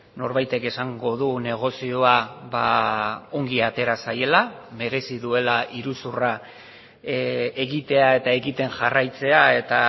norbaitek esango du negozioa ongi atera zaiela merezi duela iruzurra egitea eta egiten jarraitzea eta